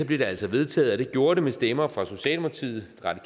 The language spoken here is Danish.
det altså vedtaget og det gjorde det med stemmer fra socialdemokratiet